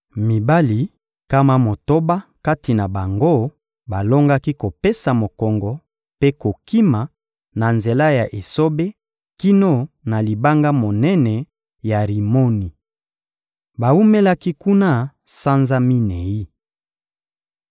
Mibali nkama motoba kati na bango balongaki kopesa mokongo mpe kokima na nzela ya esobe kino na libanga monene ya Rimoni. Bawumelaki kuna sanza minei.